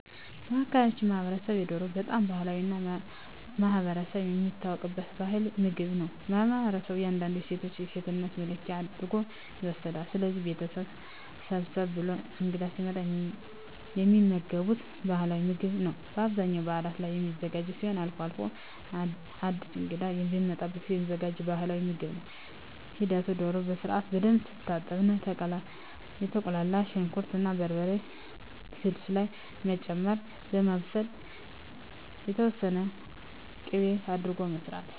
በአካባቢው ማህበረሰብ የዶሮ በጣም ባህላዊ እና ማህበረሰብ የሚታወቅበት ባህላዊ ምግብ ነው ለማህበረሠቡ እንዳውም የሴቶች የሴትነት መለኪያ አድርጎ ይወስደዋል። ስለዚህ ቤተሠብ ሰብሰብ ብሎ እንግዳ ሲመጣ የሚመገቡት ባህላዊ ምግብ ነው በአብዛኛው በዓላት ላይ የሚዘጋጅ ሲሆን አልፎ አልፎም አድስ እንግዳ በሚመጣ ጊዜም የሚዘጋጅ ባህልዊ ምግብ ነው ሂደቱ ዶሮ በስርዓትና በደንብ ትታጠብና የተቁላላ ሽንኩር እና በርበሬ ስልስ ላይ በመጨመር በማብሰል የተወሠነ ቂቤ አድርጎ መስራት